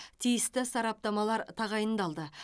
тиісті сараптамалар тағайындалды